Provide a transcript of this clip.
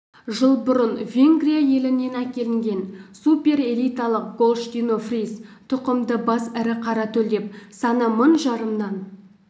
жыл бұрын венгрия елінен әкелінген суперэлиталық голштино-фриз тұқымды бас ірі қара төлдеп саны мың жарымнан